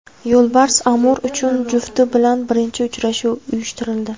Yo‘lbars Amur uchun jufti bilan birinchi uchrashuv uyushtirildi.